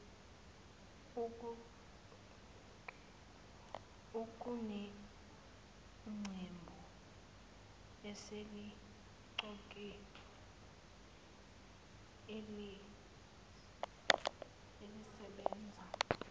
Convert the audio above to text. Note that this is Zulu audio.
kuneqembu eseliqokiwe elisebenza